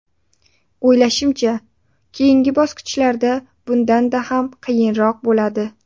O‘ylashimcha, keyingi bosqishlarda bundanda ham qiyinroq bo‘ladi.